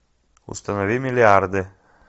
установи миллиарды